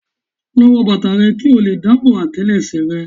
Lọ wọ bàtà rẹ kí ó lè dáàbò àtẹlẹsẹ̀ rẹ.